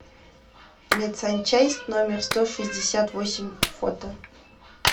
медсанчасть номер сто шестьдесят восемь фото